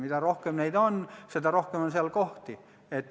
Mida rohkem neid on, seda rohkem on seal kohti.